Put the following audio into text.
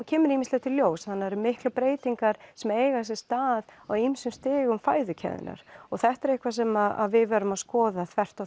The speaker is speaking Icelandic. kemur ýmislegt í ljós það eru miklar breytingar sem eiga sér stað á ýmsum stigum fæðukeðjunnar og þetta er eitthvað sem við verðum að skoða þvert á